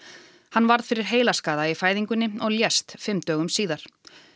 hann varð fyrir heilaskaða í fæðingunni og lést fimm dögum síðar